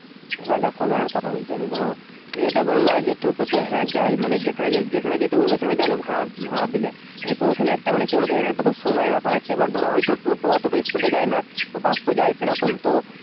এবার দেখো এইবার একটা কথা বলছি ধরো যেইটা বললাম এই যে টোটো তে হ্যাঁ যাই মানে যেখানে যেখানে যেতে বলবে সেইখানে যাবে ভাড়া ভাড়া দিলে তো ঐখানে একটা কি বলতো একটা সময় এর ব্যাপার আছে এইবার ধরো হয়তো টোটো অতটা speed এ যায়না তো বাস তো যাই সেরকম তো